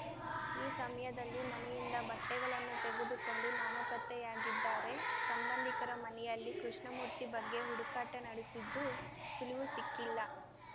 ಈ ಸಮಯದಲ್ಲಿ ಮನೆಯಿಂದ ಬಟ್ಟೆಗಳನ್ನು ತೆಗೆದುಕೊಂಡು ನಾಮಪತ್ತೆಯಾಗಿದ್ದಾರೆ ಸಂಬಂಧಿಕರ ಮನೆಯಲ್ಲಿ ಕೃಷ್ಣಮೂರ್ತಿ ಬಗ್ಗೆ ಹುಡುಕಾಟ ನಡೆಸಿದ್ದು ಸುಳಿವು ಸಿಕ್ಕಿಲ್ಲ